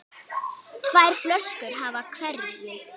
Tvær flöskur af hverju.